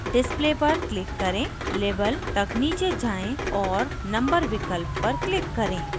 display पर click करें label तक नीचे जाएँ और number विकल्प पर click करें